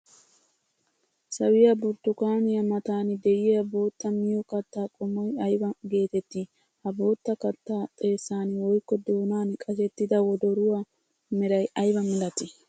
Sawiyaa burttukaaniya matan de'iyaa bootta miyo katta qommoy aybba geetetti? Ha bootta kattaa xeessan woykko doonan qashettida wodoruwaa meray aybba milatti?